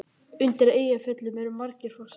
Undir Eyjafjöllum eru margir fossar.